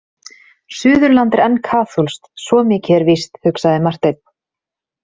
Suðurland er enn kaþólskt, svo mikið er víst, hugsaði Marteinn.